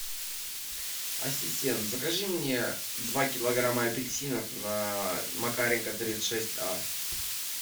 ассистент закажи мне два килограмма апельсинов на макаренко тридцать шесть а